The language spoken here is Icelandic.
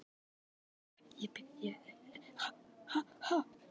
Við elskum þig alltaf.